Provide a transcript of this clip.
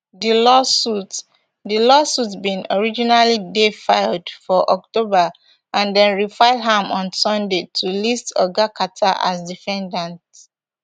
di lawsuit di lawsuit bin originally dey filed for october and dem refile am on sunday to list oga carter as defendant